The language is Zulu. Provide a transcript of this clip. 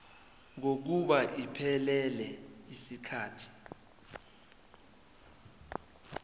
kokuba iphelele yisikhathi